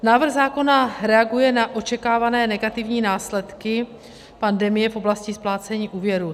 Návrh zákona reaguje na očekávané negativní následky pandemie v oblasti splácení úvěrů.